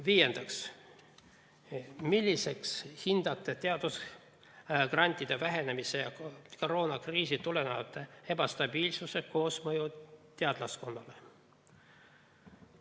Viiendaks, milliseks hindate teadusgrantide vähenemise ja koroonakriisist tuleneva ebastabiilsuse koosmõju teadlaskonnale?